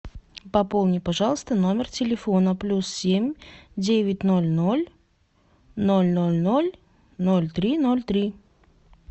пополним пожалуйста номер телефона плюс семь девять ноль ноль ноль ноль ноль ноль три ноль три